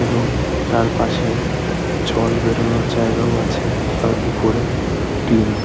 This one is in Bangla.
এবং তারপাশে জল বেরোনোর জায়গায় আছে আর উপরে টিন।